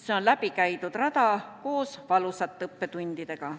See on läbi käidud rada koos valusate õppetundidega.